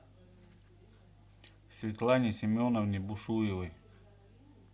светлане семеновне бушуевой